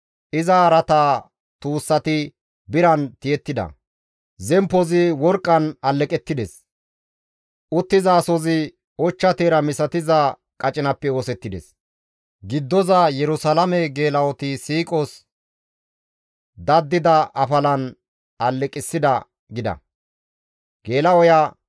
Iza araata tuussati biran tiyettida; zemppozi worqqan alleqettides; uttizaasozi ochcha teera misatiza qacinappe oosettides; giddoza Yerusalaame geela7oti siiqos dadida afalan aleqissida» gida.